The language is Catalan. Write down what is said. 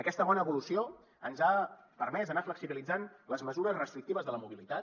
aquesta bona evolució ens ha permès anar flexibilitzant les mesures restrictives de la mobilitat